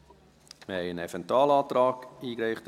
Es wurde ein Eventualantrag eingereicht.